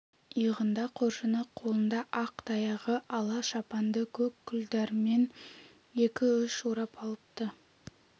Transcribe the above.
иығында қоржыны қолында ақ таяғы ала шапанды көк күлдәрімен екі-үш орап алыпты